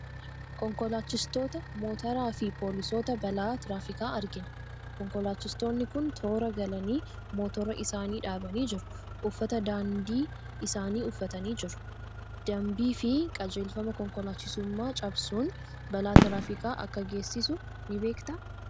Konkolaachistoota Motoraa fi poolisoota balaa tiraafikaa argina. Konkolaachistoonni kun toora galanii motora isaanii dhaabanii jiru. Uffata danbii isaanii uffatanii jiru. Danbii fi qajeelfama konkolaachisummaa cabsuun balaa tiraafikaa akka geessisu ni beektaa?